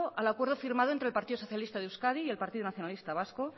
al acuerdo firmado entre el partido socialista de euskadi y el partido nacionalista vasco